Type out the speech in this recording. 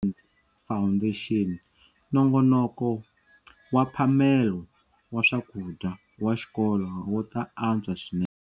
Foundation, nongonoko wa mphamelo wa swakudya wa xikolo wu ta antswa swinene.